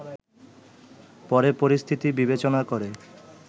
পরে পরিস্থিতি বিবেচনা করে